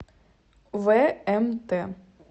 вмт